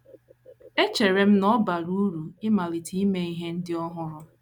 Echere m na ọ bara uru ịmalite ime ihe ndị ọhụrụ. ”